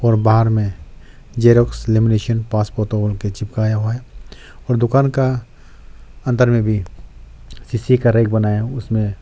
और बाहर में जेरॉक्स लेमिनेशन पास फोतो उनके चिपकाया हुआ है और दुकान का अंदर में भी शीशे का रेक बनाया उसमें--